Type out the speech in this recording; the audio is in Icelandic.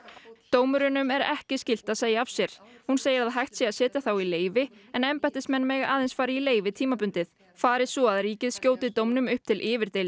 dómurunum er ekki skylt að segja af sér hún segir að hægt sé að setja þá í leyfi en embættismenn mega aðeins fara í leyfi tímabundið fari svo að ríkið skjóti dómnum upp til